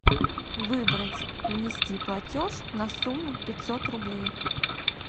выбрать внести платеж на сумму пятьсот рублей